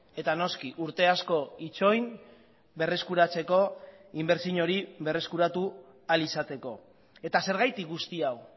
eta noski urte asko itxoin berreskuratzeko inbertsio hori berreskuratu ahal izateko eta zergatik guzti hau